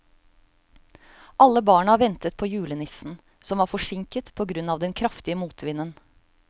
Alle barna ventet på julenissen, som var forsinket på grunn av den kraftige motvinden.